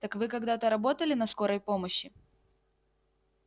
так вы когда-то работали на скорой помощи